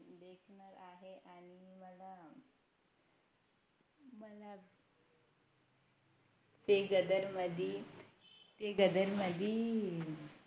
ते गदर मधी ते गदर मधी